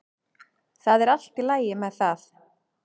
Það er allt í lagi með það.